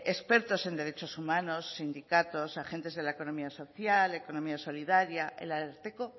expertos en derechos humanos sindicatos agentes de la economía social economía solidaria el ararteko